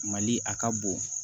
Mali a ka bon